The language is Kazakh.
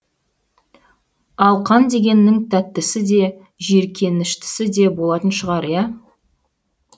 ал қан дегеннің тәттісі де жиіркеніштісі де болатын шығар иә